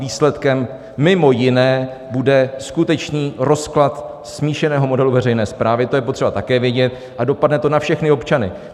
Výsledkem mimo jiné bude skutečný rozklad smíšeného modelu veřejné správy, to je potřeba také vědět, a dopadne to na všechny občany.